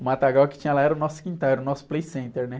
O matagal que tinha lá era o nosso quintal, era o nosso Playcenter, né?